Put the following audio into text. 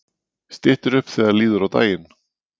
Styttir upp þegar líður á daginn